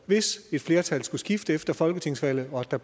hvis et flertal skulle skifte efter folketingsvalget og at der